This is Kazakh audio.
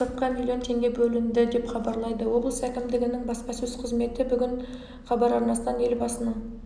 биыл бұл мақсатқа млн теңге бөлінді деп хабарлады облыс әкімдігінің баспасөз қызметі бүгін хабар арнасынан елбасының